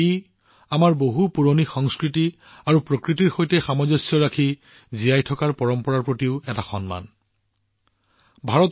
ই আমাৰ বহু পুৰণি সংস্কৃতি আৰু প্ৰকৃতিৰ সৈতে সামঞ্জস্য ৰাখি জীয়াই থকাৰ পৰম্পৰাৰ প্ৰতিও এক শ্ৰদ্ধাঞ্জলি হিচাপে বিবেচিত হৈছে